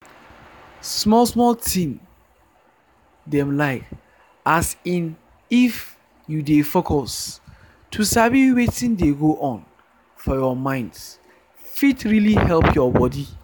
small small thing dem like as in if you dey focus to sabi wetin dey go on for your mind fit really help your body.